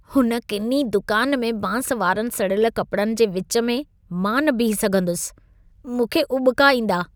हुन किनी दुकान में बांस वारनि सड़ियल कपड़नि जे विच में मां न बीही सघंदुसि। मूंखे उॿिका ईंदा।